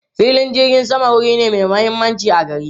Filin jirgin sama wuri ne mai mahimmanci a gari.